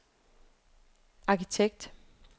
arkitekt